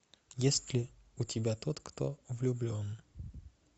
есть ли у тебя тот кто влюблен